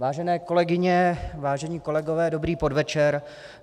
Vážené kolegyně, vážení kolegové, dobrý podvečer.